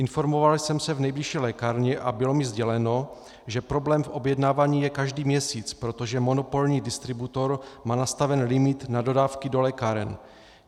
Informoval jsem se v nejbližší lékárně a bylo mi sděleno, že problém v objednávání je každý měsíc, protože monopolní distributor má nastaven limit na dodávky do lékáren.